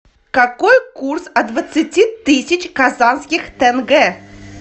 какой курс от двадцати тысяч казахских тенге